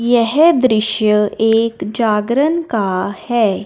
यह दृश्य एक जागरण का है।